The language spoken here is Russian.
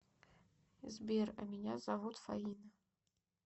сбер а меня зовут фаина